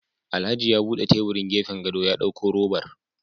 Alhaji ya bude tebirin gefen gado ya dauko robar